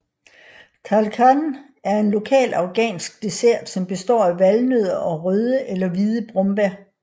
Talkhan er en lokal afghansk dessert som består af valnødder og røde eller hvide brombær